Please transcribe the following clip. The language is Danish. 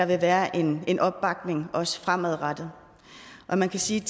være en en opbakning også fremadrettet man kan sige